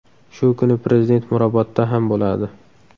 Shu kuni Prezident Mirobodda ham bo‘ladi.